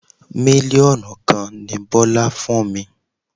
Mílíọ̀nù kan ni Bọ́lá fún mi.